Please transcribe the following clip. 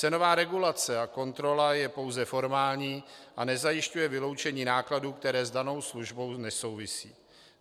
Cenová regulace a kontrola je pouze formální a nezajišťuje vyloučení nákladů, které s danou službou nesouvisí.